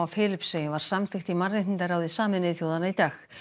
Filippseyjum var samþykkt í mannréttindaráði Sameinuðu þjóðanna í dag